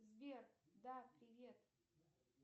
сбер да привет